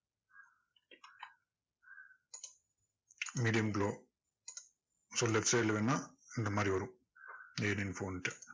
medium glow so left side ல வேணும்னா இந்த மாதிரி வரும்